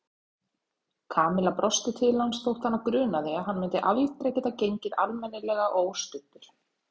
Kamilla brosti til hans þótt hana grunaði að hann myndi aldrei geta gengið almennilega óstuddur.